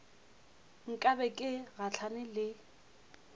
nka be ke gahlane le